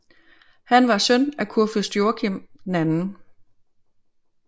Han var søn af kurfyrst Joachim 2